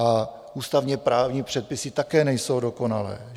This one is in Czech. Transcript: A ústavně-právní předpisy také nejsou dokonalé.